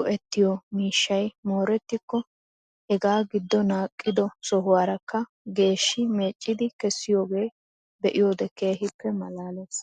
go'ettiyo miishshay moorettikko hegaa giddi naaqqido sohuwaarakka geeshshi meeccidi kessiyoogaa be'iyoode keehippe malaalees.